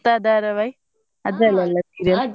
ಗೀತಾ ಧಾರಾವಾಹಿ ಅದ್ರಲ್ಲೆಲ್ಲ serial